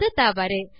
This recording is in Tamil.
அது தவறு